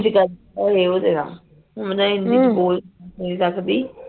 ਨੀ ਹਾਲੇ ਨੇ ਓ ਦੇਣਾ ਉਦਾ ਬੋਲ ਨਹੀਂ ਸਕਦੀ